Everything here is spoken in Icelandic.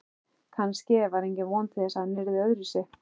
Kannske var engin von til þess að hann yrði öðruvísi